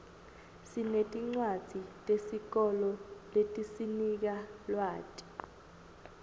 sinetincwadzi tesikolo letisinika lwati